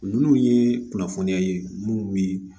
Ninnu ye kunnafoniya ye munnu bi